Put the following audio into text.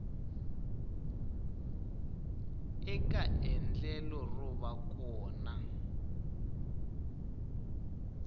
eka endlelo ro va kona